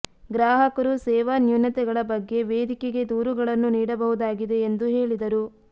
ಗ್ರಾಹಕರು ಸೇವಾ ನ್ಯೂನತೆಗಳ ಬಗ್ಗೆ ವೇದಿಕೆಗೆ ದೂರುಗಳನ್ನು ನೀಡಬಹುದಾಗಿದೆ ಎಂದು ಹೇಳಿದರು